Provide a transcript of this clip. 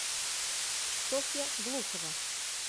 софья глухова